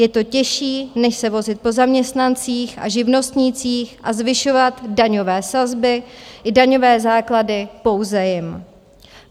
Je to těžší, než se vozit po zaměstnancích a živnostnících a zvyšovat daňové sazby i daňové základy pouze jim.